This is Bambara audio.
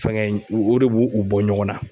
Fɛŋɛ in o o de b'u u bɔ ɲɔgɔn na.